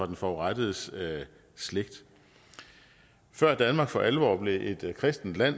den forurettedes slægt før danmark for alvor blev et kristent land